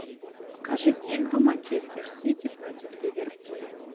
покажи мне игру манчестер сити против ливерпуля